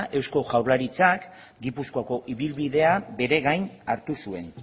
eusko jaurlaritzak gipuzkoako ibilbidea bere gain hartu zuen